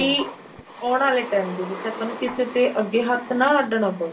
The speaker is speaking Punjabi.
ਕੀ ਆਉਣ ਵਾਲੇ time ਦੇ ਵਿੱਚ ਆਪਾਂ ਨੂੰ ਕਿਸੇ ਦੇ ਅੱਗੇ ਹੱਥ ਨਾ ਅੱਡਣਾ ਪਵੇ